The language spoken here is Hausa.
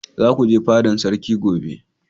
za ku je fadan sarki gobe!